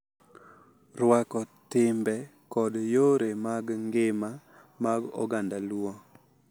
Rwako timbe kod yore mag ngima mag oganda Luo .